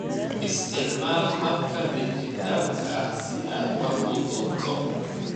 Isticmaal habka dhijitaalka ah si aad wax u duubto.